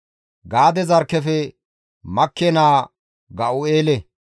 Gaade zarkkefe Makke naa Ga7u7eele.